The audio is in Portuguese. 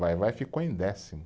Vai-Vai, ficou em décimo.